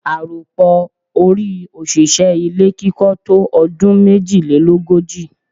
Àròpọ̀ ọọ́-orí òṣìṣẹ́ ilé kíkọ́ tó ọdún méjìlélógojì.